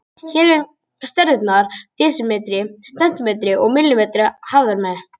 Hér eru stærðirnar desimetri, sentimetri og millimetri hafðar með.